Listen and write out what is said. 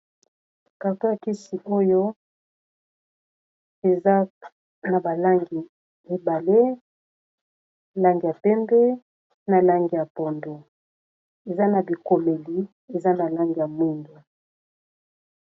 Carton ya kisi oyo eza na balangi mibale langi ya pembe na lange ya pondo eza na bikomeli eza na langi ya mingi.